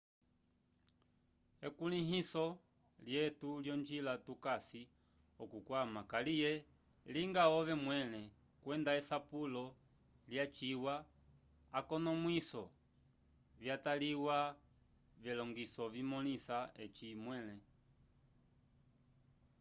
ekulĩhiso lyetu lyonjila tukasi okukwama kaliye linga ove mwẽle kwenda esapulo lyaciwa akonomwiso vyataliwa vyelongiso vimõlisa eci mwẽle